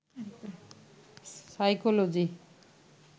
psychology